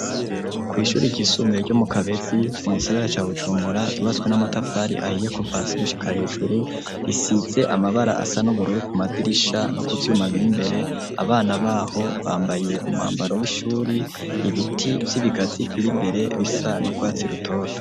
Kw' ishuri ryisumbuye ryo mu Kabetzi mu gisagara ca Bujumbura ryubatswe n'amatafari ahiye kuva hasi gushika hejuru risitse amabara asa n'ubururu ku madirisha no kuvyuma bir'imbere abana baho bambaye umwambaro w'ishuri ,ibiti vy'ibigazi bir'imbere bisa n'urwatsi rutoto.